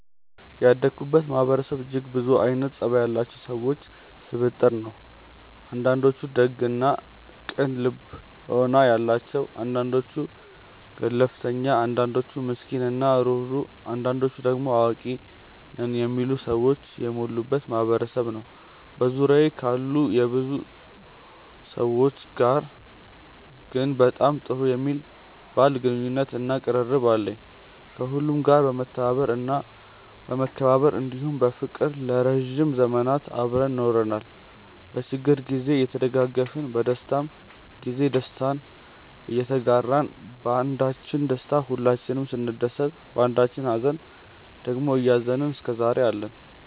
ያደኩበት ማህበረሰብ እጅግ ብዙ አይነት ፀባይ ያላቸው ሰዎች ስብጥር ነው። አንዳንዶቹ ደግ እና ቅን ልቦና ያላቸው አንዳንዶቹ ገለፍተኛ አንዳንዶቹ ምስኪን እና ሩህሩህ አንዳንዶቹ ደሞ አዋቂ ነን የሚሉ ሰዎች የሞሉበት ማህበረሰብ ነበር። በዙሪያዬ ካሉ ብዙ ሰዎች ጋር ግን በጣም ጥሩ የሚባል ግንኙነት እና ቅርርብ አለን። ከሁሉም ጋር በመተባበር እና በመከባበር እንዲሁም በፍቅር ለረዥም ዘመናት አብረን ኖረናል። በችግር ግዜ እየተደጋገፍን በደስታም ግዜ ደስታችንን እየተጋራን ባንዳችን ደስታ ሁላችንም ስንደሰት ባንዳችኝ ሃዘን ደግሞ እያዘንን እስከዛሬ አለን።